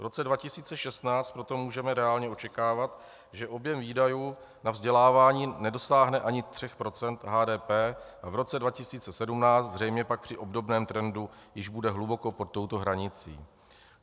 V roce 2016 proto můžeme reálně očekávat, že objem výdajů na vzdělávání nedosáhne ani 3 % HDP a v roce 2017 zřejmě pak při obdobném trendu již bude hluboko pod touto hranicí.